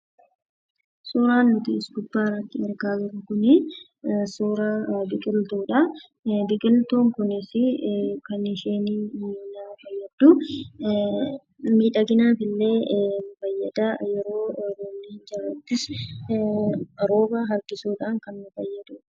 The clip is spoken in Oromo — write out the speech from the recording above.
Suuraan as gubbaatti argaa jirru kun suuraa biqiltuudha. Biqiltuun kunis kan isheen nama fayyaddu, miidhaginaaf illee ni fayyada akkasumas immoo yeroo roobni hin jiraannes rooba harkisuudhaan kan nu fayyadudha.